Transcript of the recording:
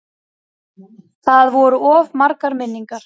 Það voru of margar minningar.